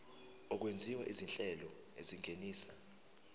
okwenziwa izinhlelo ezingenisa